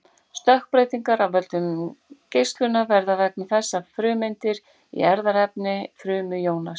Stökkbreytingar af völdum geislunar verða vegna þess að frumeindir í erfðaefni frumu jónast.